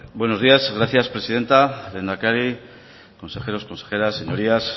buenos días gracias presidenta lehendakari consejeros consejeras señorías